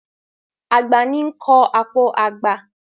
Àgbà ní ń kọ́ àpò àgbà.